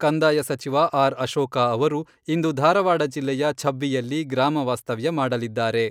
ಕಂದಾಯ ಸಚಿವ ಆರ್.ಅಶೋಕ ಅವರು ಇಂದು ಧಾರವಾಡ ಜಿಲ್ಲೆಯ ಛಬ್ಬಿಯಲ್ಲಿ ಗ್ರಾಮ ವಾಸ್ತವ್ಯ ಮಾಡಲಿದ್ದಾರೆ.